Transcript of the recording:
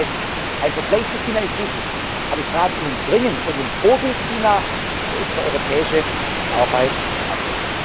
eigen. Das heißt, ein Vergleich mit China ist wichtig. Aber ich rate Ihnen dringend von dem Vorbild China für unsere europäische Arbeit